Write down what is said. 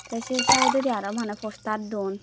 te se side dodi aro mane poster don te.